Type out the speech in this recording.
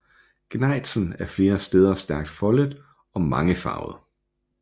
Gnejsen er flere steder stærkt foldet og mangefarvet